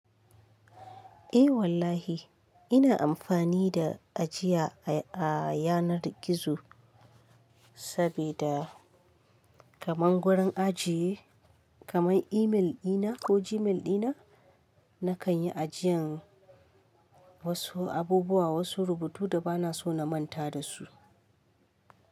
Eh wallahi ina amfani da ajiya a a yanar gizo saboda kaman gurin ajiye kaman email ɗina ko Gmail ɗina nakan yi ajiyan wasu abubuwa wasu rubutu da bana so na manta dasu.